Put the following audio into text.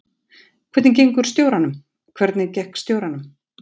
Hvernig gengur stjóranum: Hvernig gekk stjóranum?